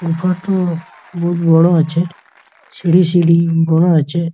ওপর টো বহুত বড় আছে | সিঁড়ি সিঁড়ি বড় আছে ।